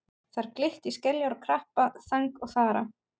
Þar glitti í skeljar og krabba, þang og þara.